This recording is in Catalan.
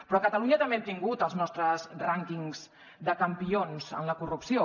però a catalunya també hem tingut els nostres rànquings de campions en la corrupció